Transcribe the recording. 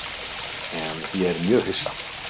En ég er mjög hissa.